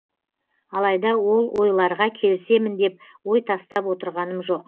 алайда ол ойларға келісемін деп ой тастап отырғаным жоқ